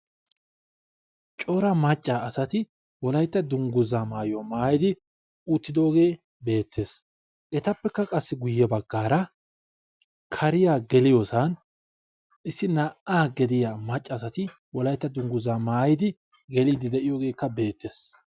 Cora macca asati wolayitta dungguzzaa mayuwa mayidi uttidoogee beettes. Etappekka qassi guyye baggaara kariya geliyosan issi naa"aa gidiya macca asati wolayitta dungguzzaa mayidi geliiddi de'iyogeekka beettees.